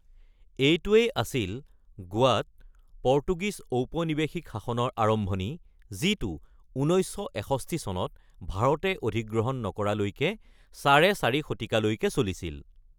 এইটোৱেই আছিল গোৱাত পৰ্তুগীজ ঔপনিৱেশিক শাসনৰ আৰম্ভণি যিটো ১৯৬১ চনত ভাৰতে অধিগ্ৰহণ নকৰালৈকে চাৰে চাৰি শতিকালৈকে চলিছিল।